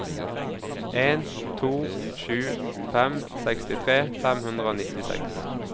en to sju fem sekstitre fem hundre og nittiseks